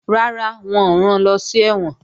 Rárá, wọn ò ran lọ sí ẹ̀wọ̀n